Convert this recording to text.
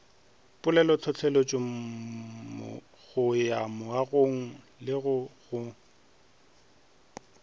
polelotlhohleletšo go ya mongwalelo go